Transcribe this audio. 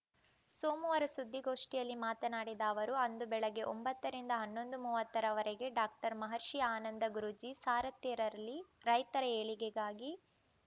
ಸೋಮವಾರ ಸುದ್ದಿಗೋಷ್ಠಿಯಲ್ಲಿ ಮಾತನಾಡಿದ ಅವರು ಅಂದು ಬೆಳಗ್ಗೆ ಒಂಬತ್ತರಿಂದ ಹನ್ನೊಂದು ಮೂವತ್ತರ ವರೆಗೆ ಡಾಕ್ಟರ್ ಮಹರ್ಷಿ ಆನಂದ ಗುರೂಜಿ ಸಾರಥ್ಯದಲ್ಲಿ ರೈತರ ಏಳಿಗೆಗಾಗಿ